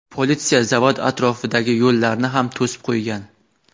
Politsiya zavod atrofidagi yo‘llarni ham to‘sib qo‘ygan.